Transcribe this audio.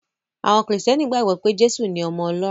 Àwọn Kìrìtẹ̀ẹ́nì gbàgbọ́ pé Jésù ni ọmọ Ọlọ́run.